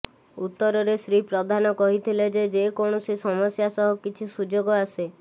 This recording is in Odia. ଉତ୍ତରରେ ଶ୍ରୀ ପ୍ରଧାନ କହିଥିଲେ ଯେ ଯେକୌଣସି ସମସ୍ୟା ସହ କିଛି ସୁଯୋଗ ଆସେ